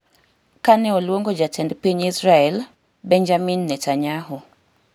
kane oluongo Jatend Piny Israel, Benjamin Netanyahu